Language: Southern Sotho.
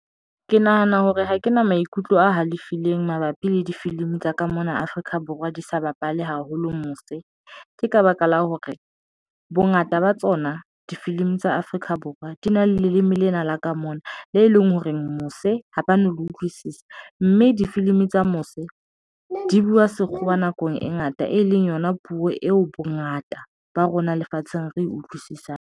Ke nahana hore ha ke na maikutlo a halefileng mabapi le difilimi tsa ka mona Afrika Borwa di sa bapale haholo mose. Ke ka baka la hore bongata ba tsona difilimi tsa Afrika Borwa di na le leme lena la ka mona, le e leng hore mose ha ba no le utlwisisa mme difilimi tsa mose di buwa sekgowa nakong e ngata e leng yona puo eo bongata ba rona lefatsheng re utlwisisang.